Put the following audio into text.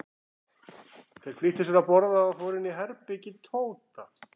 Þeir flýttu sér að borða og fóru inn í herbergi Tóta.